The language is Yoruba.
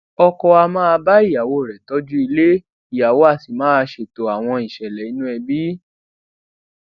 ọkọ á máa bá ìyàwó rè tójú ilé ìyàwó á sì máa ṣètò àwọn ìṣẹlè inú ẹbí